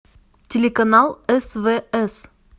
телеканал свс